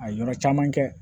A ye yɔrɔ caman kɛ